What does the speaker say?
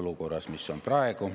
olukorras, mis on praegu.